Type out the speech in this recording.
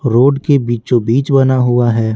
Road के बीचों-बीच बना हुआ है।